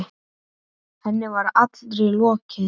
Henni var allri lokið.